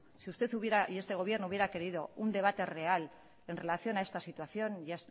si usted y este gobierno hubiera querido un debate real en relación a esta situación y